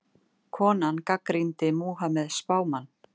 Konan gagnrýndi Múhameð spámann